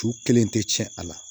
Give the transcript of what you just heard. Cu kelen tɛ tiɲɛ a la